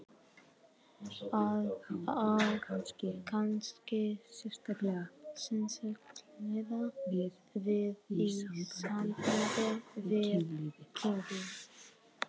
Það á kannski sérstaklega við í sambandi við kynlífið.